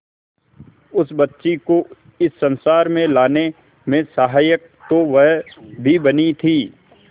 उस बच्ची को इस संसार में लाने में सहायक तो वह भी बनी थी